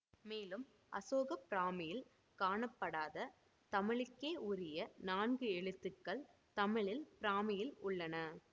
மேலும் அசோக பிராமியில் காணப்படாத தமிழுக்கே உரிய நான்கு எழுத்துக்கள் தமிழில் பிராமியில் உள்ளன